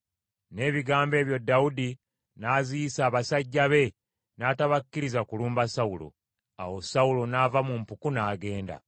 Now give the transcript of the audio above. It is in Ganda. N’ebigambo ebyo Dawudi n’aziyiza abasajja be n’atabakkiriza kulumba Sawulo. Awo Sawulo n’ava mu mpuku, n’agenda.